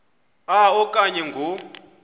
a okanye ngo